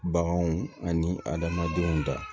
Baganw ani adamadenw da